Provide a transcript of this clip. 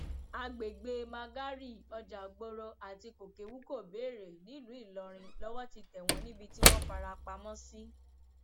àgbègbè magárì ọjàgbọrọ àti kókèwukobeere nílùú ìlọrin lowó ti tẹ wọn níbi tí wọn fara pamọ sí